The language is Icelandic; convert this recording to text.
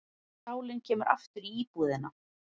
Sálin kemur aftur í íbúðina.